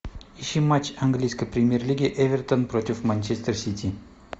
ищи матч английской премьер лиги эвертон против манчестер сити